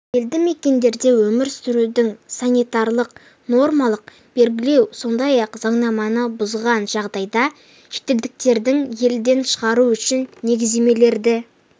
елді мекендерде өмір сүрудің санитарлық нормаларын белгілеу сондай-ақ заңнаманы бұзған жағдайда шетелдіктерді елден шығару үшін негіздемелерді